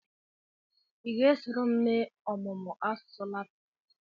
Ị ga-esoro m mee ọmụmụ asụsụ Latin?